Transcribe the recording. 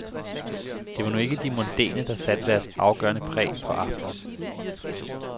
Det var nu ikke de mondæne, der satte deres afgørende præg på aftenen.